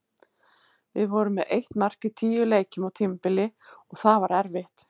Við vorum með eitt mark í tíu leikjum á tímabili og það var erfitt.